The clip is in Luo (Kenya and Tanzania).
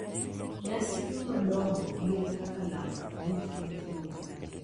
Nyasi madongo gin kaka lamo abich ma itimo pile,